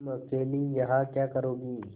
तुम अकेली यहाँ क्या करोगी